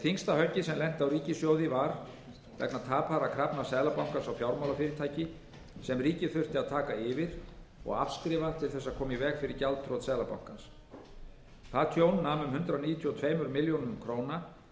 þyngsta höggið sem lenti á ríkissjóði var vegna tapaðra krafna seðlabankans á fjármálafyrirtæki sem ríkið þurfti að taka yfir og afskrifa til þess að koma í veg fyrir gjaldþrot seðlabankans það tjón nam um hundrað níutíu og tveimur milljörðum króna